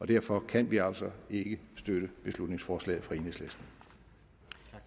derfor kan vi altså ikke støtte beslutningsforslaget fra enhedslisten